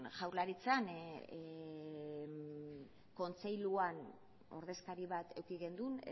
jaurlaritzan kontseiluan ordezkari bat eduki genuen